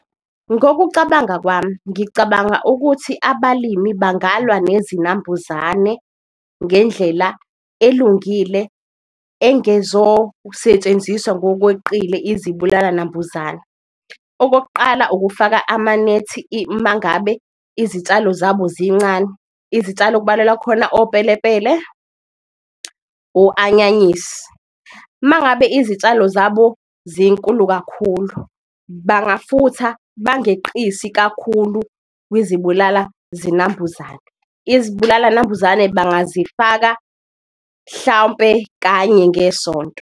Ngokucabanga kwami ngicabanga ukuthi abalimi bengalwa nezinambuzane ngendlela elungile, engezosetshenziswa ngokweqile izibulala-nambuzana, okokuqala ukufaka amanethi mangabe izitshalo zabo zincane. Izitshalo okubalelwa khona opelepele, o-anyanyisi, mangabe izitshalo zabo zinkulu kakhulu, bangafutha bangeqisi kakhulu kuzibulala zinambuzane, izibulala-nambuzane bazifaka hlawumpe kanye ngesonto.